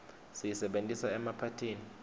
siyisebentisa emaphathini